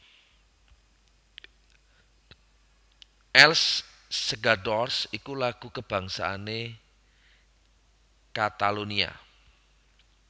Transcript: Els Segadors iku lagu kabangsané Katalonia